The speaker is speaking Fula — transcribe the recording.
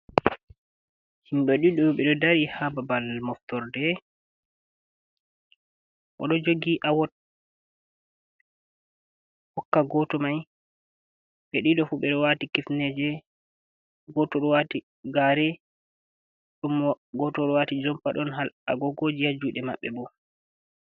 Himɓe ɗiɗo ɓe ɗo dari ha babal moftorde bo ɗo jogi ahokka goto mai be dido fu ɓe ɗo wati kifne je goto wati gare ɗum gotol wati jompa don agogo ji ha juɗe maɓɓe bo.